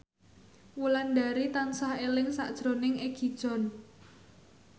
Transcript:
Wulandari tansah eling sakjroning Egi John